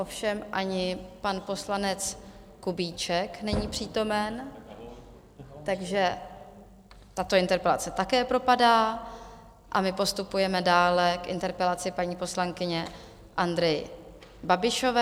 Ovšem ani pan poslanec Kubíček není přítomen, takže tato interpelace také propadá, a my postupujeme dále k interpelaci paní poslankyně Andrey Babišové.